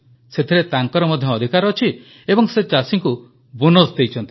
ସେଥିରେ ତାଙ୍କର ମଧ୍ୟ ଅଧିକାର ଅଛି ଏବଂ ସେ ଚାଷୀଙ୍କୁ ବୋନସ୍ ଦେଇଛନ୍ତି